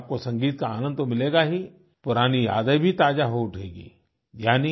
इससे आपको संगीत का आनंद तो मिलेगा ही पुरानी यादें भी ताज़ा हो उठेंगी